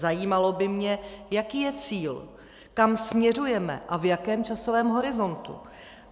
Zajímalo by mě, jaký je cíl, kam směřujeme a v jakém časovém horizontu.